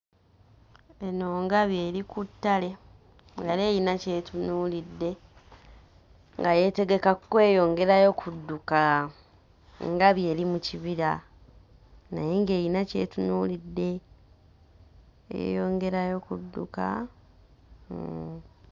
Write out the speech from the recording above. Eno ngabi eri ku ttale. Yali erina ky'etunuulidde nga yeetegeka kweyongerayo kudduka. Engabi eri mu kibira naye ng'erina ky'etunuulidde, yeeyongerayo kudduka, hmm.